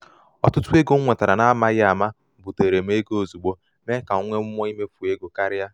otutu otutu ego m nwetara n’amaghị ama butere m ego ozugbo ozugbo mee ka m nwee mmụọ imefu ego karịa.